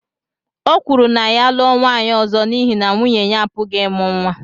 O kwuru na ya lụọ nwaanyị ọzọ n’ihi na nwunye ya apụghị ịmụ nwa.